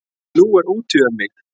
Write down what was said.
Nú er úti um mig!